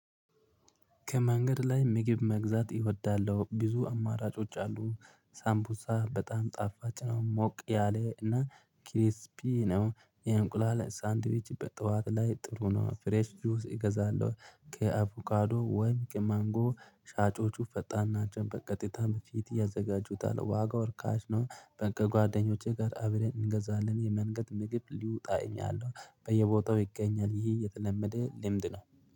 ከመንገድ ላይ ምግብ መግዛት እወዳለሁ ብዙ አማራጮች አሉ። ሳምፑዛ በጣም ጣፋጭ ነው ሞቅ ያለ እና ኪሪስፒ ነው። የእንቁላል ሳንዲዌች በጠዋት ላይ ጥሩ ነው። ፍሬሽ ጁስ እገዛለሁ። ከአቮካዶ ወይም ከማንጎ ሻጮቹ ፈጣን ናቸው። በቀጥታ በፊት ያዘጋጁታል። ዋጋው ርካሽ ነው። ከጓደኞቼ ጋር አብረን እንገዛለን። የመንገድ ምግብ ሊውጣ ይኛለሁ። በየቦታው ይገኛል። ይህ የተለመደ ልምድ ነው